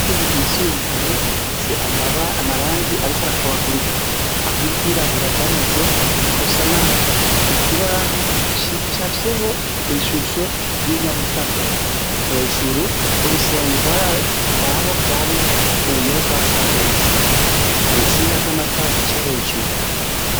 Ishure ryisumbuye rifise amarangi ariko arakubagurika aho iryirabura ryamaze gusa nabi ikibaho cicafyeho ishusho yi nyabutatu hejuru haraho urusenge rwa sadutse haritsinga zamatara zica hejuru